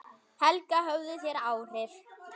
Helga: Höfðu þeir áhrif?